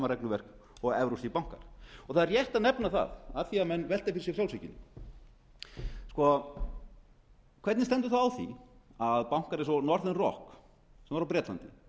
regluverk og evrópskir bankar það er rétt að nefna það af því að menn velta fyrir sér frjálshyggjunni hvernig stendur á því að bankar eins og er rock sem var á bretlandi